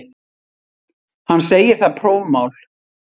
Hann segir það prófmál.